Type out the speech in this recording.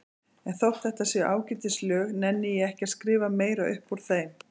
En þótt þetta séu ágætis lög nenni ég ekki að skrifa meira upp úr þeim.